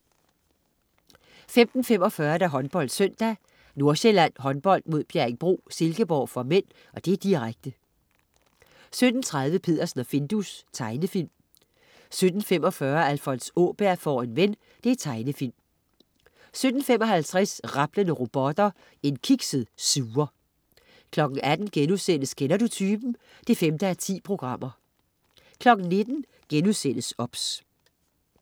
15.45 HåndboldSøndag: Nordsjælland Håndbold-Bjerringbro/Silkeborg (m), direkte 17.30 Peddersen og Findus. Tegnefilm 17.45 Alfons Åberg får en ven. Tegnefilm 17.55 Rablende robotter. En kikset suger 18.00 Kender du typen? 5:10* 19.00 OBS*